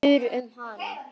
Hver spyr um hana?